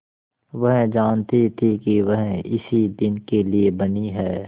वह जानती थी कि वह इसी दिन के लिए बनी है